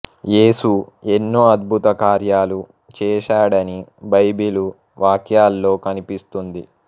యేసు ఎన్నో అద్భుత కార్యాలు చేశాడని బైబిలు వాక్యాల్లో కనిపిస్తుంది